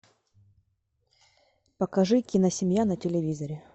покажи кино семья на телевизоре